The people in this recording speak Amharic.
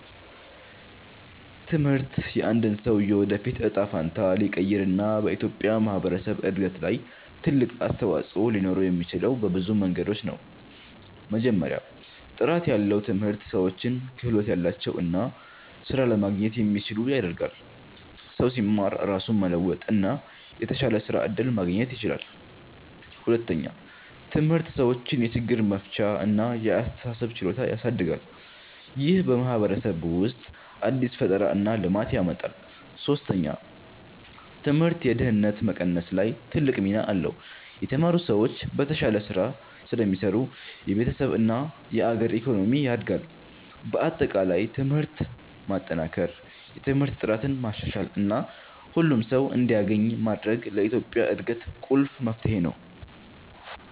ትምህርት የአንድን ሰው የወደፊት እጣ ፈንታ ሊቀይር እና በኢትዮጵያ ማህበረሰብ እድገት ላይ ትልቅ አስተዋፅኦ ሊኖረው የሚችለው በብዙ መንገዶች ነው። መጀመሪያ፣ ጥራት ያለው ትምህርት ሰዎችን ክህሎት ያላቸው እና ስራ ለማግኘት የሚችሉ ያደርጋል። ሰው ሲማር ራሱን መለወጥ እና የተሻለ የስራ እድል ማግኘት ይችላል። ሁለተኛ፣ ትምህርት ሰዎችን የችግር መፍቻ እና የአስተሳሰብ ችሎታ ያሳድጋል። ይህ በማህበረሰብ ውስጥ አዲስ ፈጠራ እና ልማት ያመጣል። ሶስተኛ፣ ትምህርት የድህነት መቀነስ ላይ ትልቅ ሚና አለው። የተማሩ ሰዎች በተሻለ ስራ ስለሚሰሩ የቤተሰብ እና የአገር ኢኮኖሚ ያድጋል። በአጠቃላይ ትምህርትን ማጠናከር፣ የትምህርት ጥራትን ማሻሻል እና ሁሉም ሰው እንዲያገኝ ማድረግ ለኢትዮጵያ እድገት ቁልፍ መፍትሄ ነው።